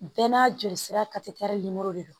Bɛɛ n'a jolisira de don